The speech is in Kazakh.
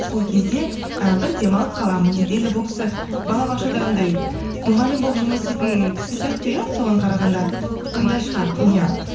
сол кезде і бір демалып қаламын дейді енді бұл кісі балабақшада анандай мұғалім болып жұмыс істейтін кісі сияқты иә соған қарағанда сондай шығар иә